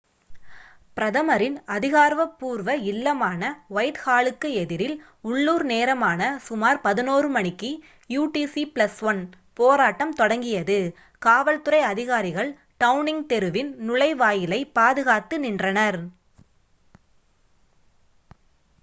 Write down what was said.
பிரதமரின் அதிகாரபூர்வ இல்லமான வைட் ஹாலுக்கு எதிரில் உள்ளூர் நேரமான சுமார் 11:00 மணிக்கு utc+1 போராட்டம் தொடங்கியது. காவல்துறை அதிகாரிகள் டவுனிங் தெருவின் நுழைவாயிலை பாதுகாத்து நின்றனர்